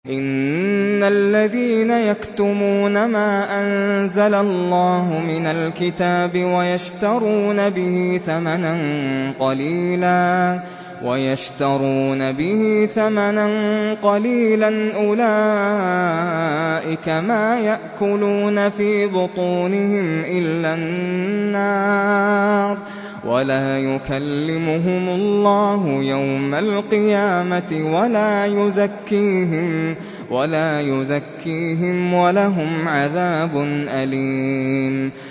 إِنَّ الَّذِينَ يَكْتُمُونَ مَا أَنزَلَ اللَّهُ مِنَ الْكِتَابِ وَيَشْتَرُونَ بِهِ ثَمَنًا قَلِيلًا ۙ أُولَٰئِكَ مَا يَأْكُلُونَ فِي بُطُونِهِمْ إِلَّا النَّارَ وَلَا يُكَلِّمُهُمُ اللَّهُ يَوْمَ الْقِيَامَةِ وَلَا يُزَكِّيهِمْ وَلَهُمْ عَذَابٌ أَلِيمٌ